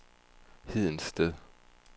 Hedensted